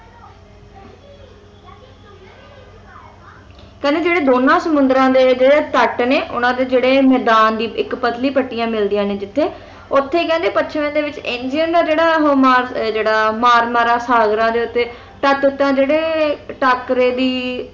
ਕਹਿੰਦੇ ਜਿਹੜੇ ਦੋਨਾਂ ਸਮੁੰਦਰਾਂ ਤੇ ਤਟ ਨੇ ਉਹਨਾਂ ਦੇ ਜਿਹੜੇ ਮੈਦਾਨ ਦੀ ਇੱਕ ਪਤਲੀ ਪੱਟੀ ਮਿਲਦੀ ਹੈ ਜਿੱਥੇ ਉੱਥੇ ਕਹਿੰਦੇ ਪੱਛਮ ਦੇ ਵਿੱਚ ਇੰਗਰੀਆਨ ਦੋ ਜਿਹੜਾ ਉਹ ਜਿਹੜਾ ਉਹ ਮਾਰ ਮਾਰਾ ਸਾਗਰਾਂ ਦੇ ਉੱਤੇ ਤਟ ਉੱਤੇ ਜਿਹੜੇ ਟਾਕਰੇ ਦੀ